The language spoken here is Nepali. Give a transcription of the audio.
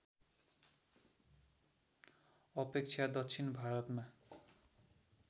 अपेक्षा दक्षिण भारतमा